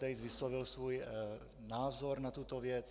Tejc vyslovil svůj názor na tuto věc.